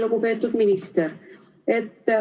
Lugupeetud minister!